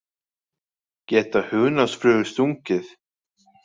Geta hunangsflugur stungið?